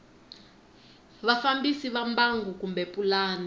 vafambisi va mbangu kumbe pulani